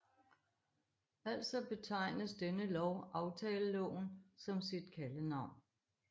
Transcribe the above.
Altså betegnes denne lov aftaleloven som sit kaldenavn